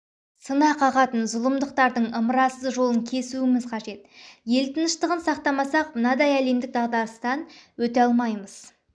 жайын ойластыруымыз керек қолына қару алып кісі өлтірген адам өлім жазасына кесілуі қажет екіншіден елдігімізге